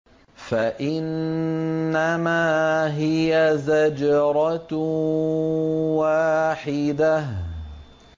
فَإِنَّمَا هِيَ زَجْرَةٌ وَاحِدَةٌ